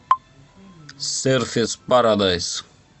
серферс парадайс